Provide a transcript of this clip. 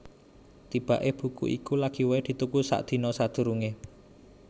Tibaké buku iku lagi waé dituku sadina sadurungé